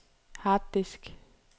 harddisk